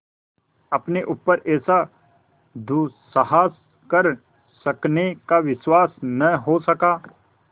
अपने ऊपर ऐसा दुस्साहस कर सकने का विश्वास न हो सका